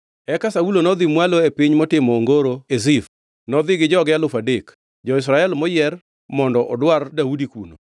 Eka Saulo nodhi mwalo e piny motimo ongoro e Zif, nodhi gi joge alufu adek, jo-Israel moyier, mondo odwar Daudi kuno.